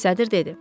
Sədr dedi.